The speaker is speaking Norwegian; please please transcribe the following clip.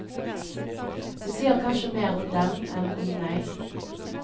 Det sier kanskje mer om dem enn om meg.